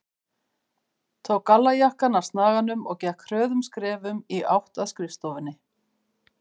Tók gallajakkann af snaganum og gekk hröðum skrefum í átt að skrifstofunni.